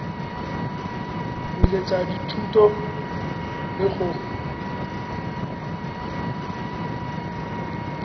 go tsweletsa dithuto le go